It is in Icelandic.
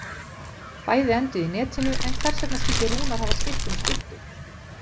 Bæði enduðu í netinu en hvers vegna skildi Rúnar hafa skipt um skyttu?